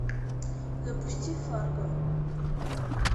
запусти фарго